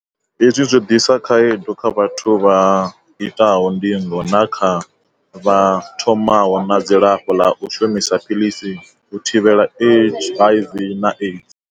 Hezwi zwo ḓisa khaedu kha vhathu vha itaho ndingo na kha vha thomaho na dzilafho ḽa u shumisa philisi u thivhela HIV na AIDS.